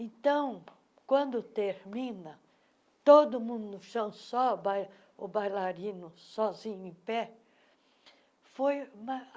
Então, quando termina, todo mundo no chão, só bai o bailarino, sozinho, em pé. foi